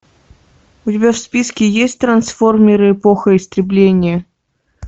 у тебя в списке есть трансформеры эпоха истребления